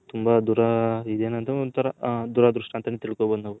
ತುಂಬಾ ದೂರ ದುರದೃಷ್ಟ ಅಂತನೆ ತಿಳ್ಕೊಬೌದು ನಾವು.